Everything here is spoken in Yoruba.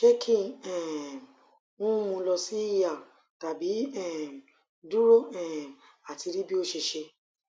se ki um n mu lo si er tabi um duro um ati ri bi ose se